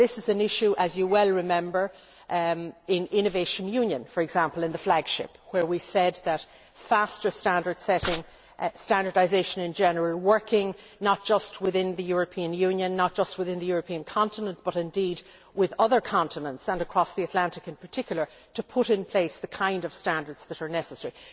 This is an issue, as you well remember, in innovation union, for example in the flagship, where we talked about faster standard setting and standardisation in general, working not just within the European Union and not just within the European continent but with other continents and across the Atlantic in particular, to put in place the kind of standards that are necessary.